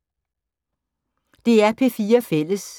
DR P4 Fælles